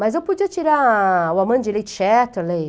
Mas eu podia tirar o Amandie Lee Chatterley,